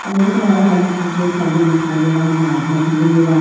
और मेरे को वहां हम सामने दिखाई दे रहा है --